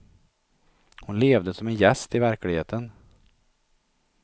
Hon levde som en gäst i verkligheten.